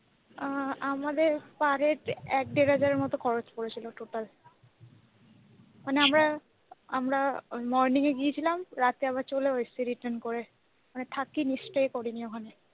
আ আমাদের per per head হাজার মত খরচ করেছিল total মানে আমরা আমরা morning এ গিয়েছিলাম রাতে আবার চলে এসেছিলাম return করে। মানে থাকিনি stay করিনি ওখানে।